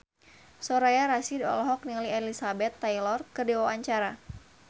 Soraya Rasyid olohok ningali Elizabeth Taylor keur diwawancara